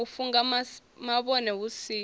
u funga mavhone hu si